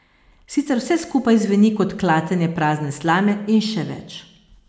Sicer vse skupaj zveni kot klatenje prazne slame in še več.